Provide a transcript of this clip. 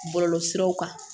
Bɔlɔlɔsiraw kan